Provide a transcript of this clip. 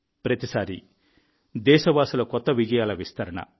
ప్రతిసారీ దేశవాసుల కొత్త విజయాల విస్తరణ